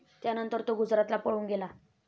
त्यानंतर तो गुजरातला पळून गेला.